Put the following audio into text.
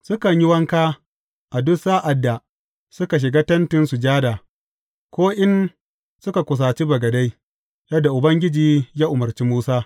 Sukan yi wanka a duk sa’ad da suka shiga Tentin Sujada, ko in suka kusaci bagade, yadda Ubangiji ya umarci Musa.